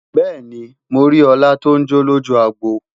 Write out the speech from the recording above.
bẹẹni, mọ rí òla ton jọ lójú agbo